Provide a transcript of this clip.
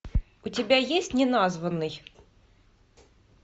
у тебя есть неназванный